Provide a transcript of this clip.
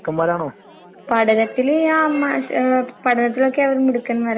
എനിക്കിപ്പോ അത് കംപ്ലീറ്റ് ചെയ്യണന്ന്ണ്ട്, ഞാൻ ഡിസ്റ്റന്റായിട്ട് പഠിക്കണന്നാഗ്രഹിക്ക്ന്ന്ണ്ടിപ്പോ.